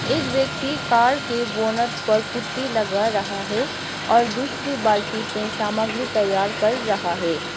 एक व्यक्ति कार के बोनट पर पुट्टी लग रहा है और दूसरी बाल्टी में सामग्री तैयार कर रहा है।